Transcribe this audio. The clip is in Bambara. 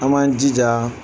An b'an jija